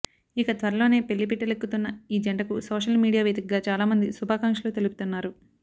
ఇక త్వరలోనే పెళ్లిపీటలెక్కుతున్న ఈ జంటకు సోషల్ మీడియా వేదికగా చాలామంది శుభాకాంక్షలు తెలుపుతున్నారు